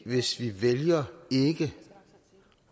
hvis vi vælger ikke